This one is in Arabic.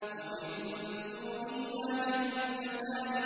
وَمِن دُونِهِمَا جَنَّتَانِ